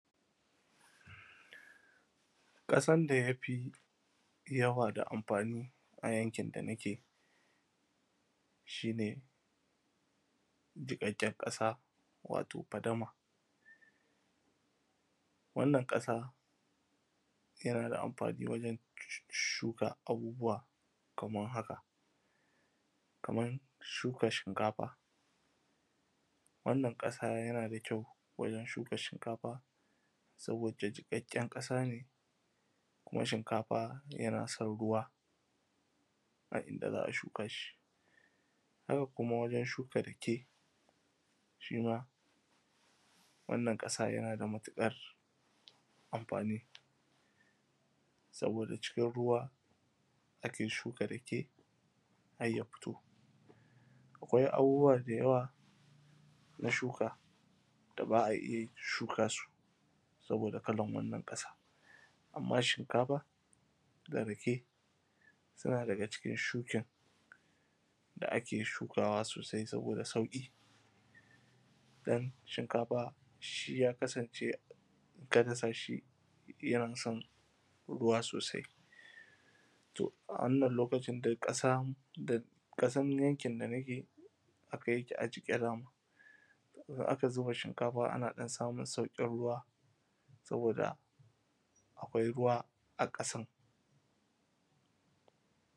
kasan da yafi yawa da amfani a yankin da nake gikakken kasa wato fadama yanada amfani wajen yin shuka abubuwa kaman haka kaman shuka shinkafa wannan kasa yana da kyau gurin shuka shinkafa saboda jikakken kasa ne shinkafa yana son ruwa a inda za’a shuka shi haka kuma wagen shuka rake shima wannan kasa yanada matukar amfani saboda cikin ruwa ake shuka rake harya fito akwai abubuwa da yawa na shuka da ba’a shuka su saboda yanayi na wannan kasa amma shinkafa da rake tana daga cikin shuken da ‘ake shukawa sosai saboda sauki dan shinkafa ya kasance inka dasa shi yanason ruwa sosai to a wannan lokacin dai kasan yankin da nake haka yakeƙ agike in aka zuba shinkafa ana samun saukin ruwa akwai ruwa a kasan